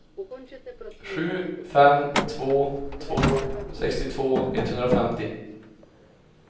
sju fem två två sextiotvå etthundrafemtio